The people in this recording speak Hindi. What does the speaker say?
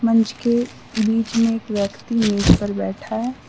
मंच के बीच में एक व्यक्ति मेज पर बैठा है।